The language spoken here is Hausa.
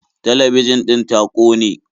Talabijin ɗin ta kone.